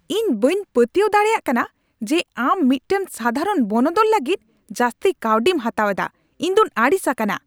ᱤᱧ ᱵᱟᱹᱧ ᱯᱟᱹᱛᱭᱟᱹᱣ ᱫᱟᱲᱮᱭᱟᱜ ᱠᱟᱱᱟ ᱡᱮ ᱟᱢ ᱢᱤᱫᱴᱟᱝ ᱥᱟᱫᱷᱟᱨᱚᱱ ᱵᱚᱱᱚᱫᱚᱞ ᱞᱟᱹᱜᱤᱫ ᱡᱟᱹᱥᱛᱤ ᱠᱟᱹᱣᱰᱤ ᱮᱢ ᱦᱟᱛᱟᱣ ᱮᱫᱟ ᱾ ᱤᱧ ᱫᱚᱧ ᱟᱹᱲᱤᱥ ᱟᱠᱟᱱᱟ ᱾